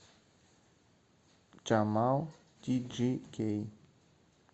джамал тиджикей